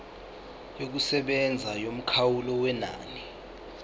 yokusebenza yomkhawulo wenani